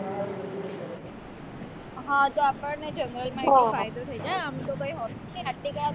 હા તો આપણને general માં એનો ફાયદો થાય જાય આમ તો કઈ હોતું નથી